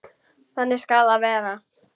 Þannig skal það verða.